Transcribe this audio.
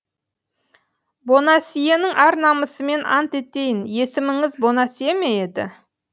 бонасьенің ар намысымен ант етейін есіміңіз бонасье ме еді